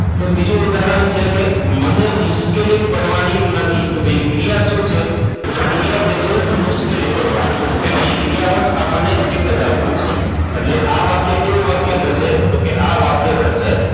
તો બીજું ઉદાહરણ છે કે મને મુશ્કેલી પડવાની નથી તો કે ક્રિયા શું છે તો ક્રિયા થય છે મુશ્કેલી પડવાની તો અહિયાં ક્રિયાપદ આપણને એક જ આપ્યું છે એટલે આ વાક્ય કેવું વાક્ય થશે તો કે આ વાક્ય થશે